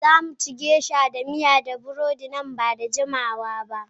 Za mu ci Geisha miya da burodi nan ba da jimawa ba.